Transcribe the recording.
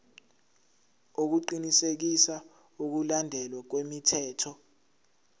ukuqinisekisa ukulandelwa kwemithetho